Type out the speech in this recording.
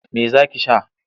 Me za ki sha?